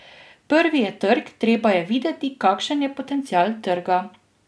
Prvi je trg, treba je videti, kakšen je potencial trga.